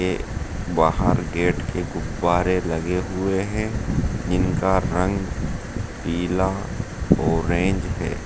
बाहर गेट के गुब्बारे लगे हुए है जिनका रंग पीला ऑरेंज है।